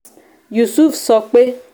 yusuf sọ pé